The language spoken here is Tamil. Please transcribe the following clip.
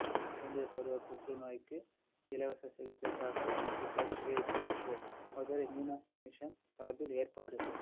குழந்தை பருவ புற்றுநோய்க்கு இலவச சிகிச்சைக்காக musical stage show Madurai Meenakshi mission சார்பில் ஏற்பாடு